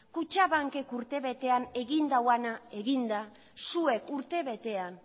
kutxabanakek urte betean egin duena eginda zuek urte betean